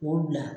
K'o bila